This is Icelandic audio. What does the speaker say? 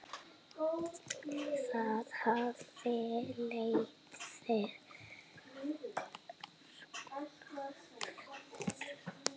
Það hafi leitt til skorts.